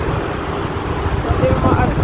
Veistu til þess?